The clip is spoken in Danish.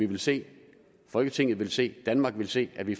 vil se folketinget vil se danmark vil se at vi